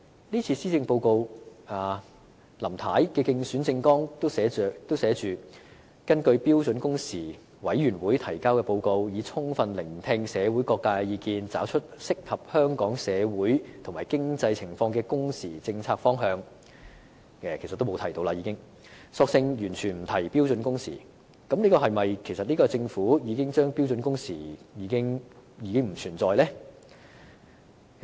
這次的施政報告，連林太在競選政綱說會根據標準工時委員會提交的報告，以及充分聆聽社會各界的意見，找出適合香港社會和經濟情況的工時政策方向的承諾，也沒有再提，更索性完全不提標準工時，這是否意味政府認為標準工時已不存在呢？